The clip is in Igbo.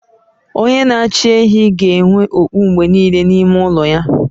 Onye n'achi ehi ga-enwe okpu mgbe niile n'ime ụlọ ya.